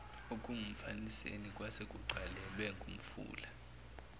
okungumfaniseni kwasekugcwalelwe ngumfula